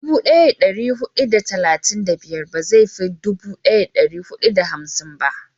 dubu daya da dari hudu da talatin da biyar ba zai fi dubu daya da dari hudu da hamsin ba